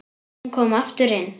Hún kom aftur inn